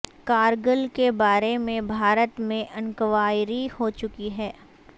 کارگل کے بارے میں بھارت میں انکوائری ہو چکی ہے